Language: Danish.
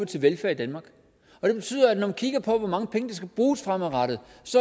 til velfærd i danmark det betyder at når man kigger på hvor mange penge der skal bruges fremadrettet